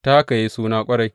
Ta haka ya yi suna ƙwarai.